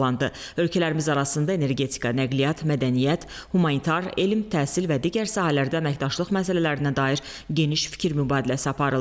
Ölkələrimiz arasında energetika, nəqliyyat, mədəniyyət, humanitar, elm, təhsil və digər sahələrdə əməkdaşlıq məsələlərinə dair geniş fikir mübadiləsi aparıldı.